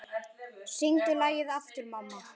Syngdu lagið aftur, mamma